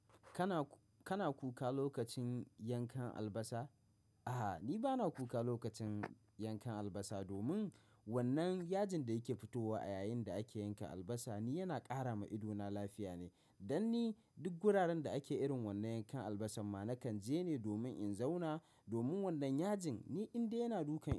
Kaku-- Kana, kana kuka lokacin yankan albasa? A'a, ni ba na kuka lokacin yankan albasa. Domin wannan yajin da yake fitowa a yayin da ake yankan albasa ni yana ƙara ma idona lafiya ne. Danni duk guraren da ake irin wannan yankan albasan ma nakan je ne domin in zauna. Domin wannan yajin ni inda yana dukan.